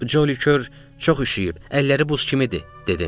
Joli Kör çox üşüyüb, əlləri buz kimidir dedim.